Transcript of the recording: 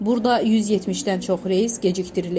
Burada 170-dən çox reys gecikdirilib.